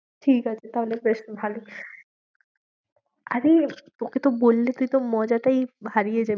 ঠিক আছে তাহলে বেশ ভালো, আরে তোকে তো বললে তুই তো মজাটাই হারিয়ে